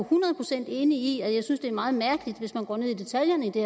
procent enig i og jeg synes det er meget mærkeligt hvis man går ned i detaljerne i det